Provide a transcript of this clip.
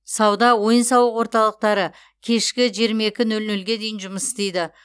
сауда ойын сауық орталықтары кешкі жиырма екі нөл нөлге дейін жұмыс істейді